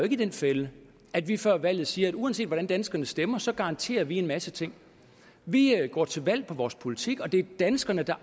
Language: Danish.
i den fælde at vi før valget siger at uanset hvordan danskerne stemmer så garanterer vi en masse ting vi går til valg på vores politik og det er danskerne der